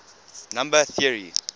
number theory